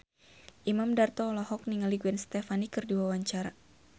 Imam Darto olohok ningali Gwen Stefani keur diwawancara